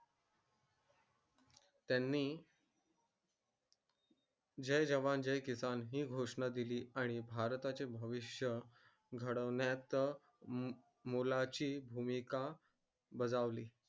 त्यांनी जय जवान जय किसान हि घोष केला आणि बर्ताचा भविष्य घडवनायत मुलाची भूमिका बजवाली